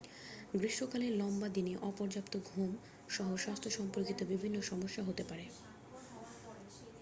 গ্রীষ্মকালে লম্বা দিনে অপর্যাপ্ত ঘুম সহ স্বাস্থ্য সম্পর্কিত বিভিন্ন সমস্যা হতে পারে